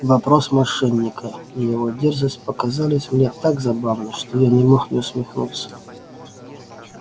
вопрос мошенника и его дерзость показались мне так забавны что я не мог не усмехнуться